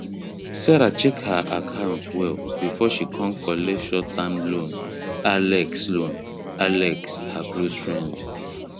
serah check her account well before she kon collect short term loan alex loan alex her close friend